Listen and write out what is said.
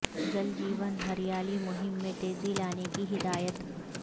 جل جیون ہریالی مہم میں تیزی لانے کی ہدایت